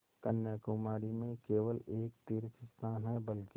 कन्याकुमारी में केवल एक तीर्थस्थान है बल्कि